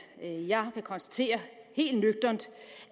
jeg kan konstatere helt nøgternt